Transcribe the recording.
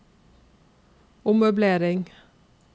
ommøblering